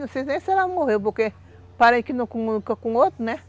Não sei nem se ela morreu, porque parece nunca com outro, né?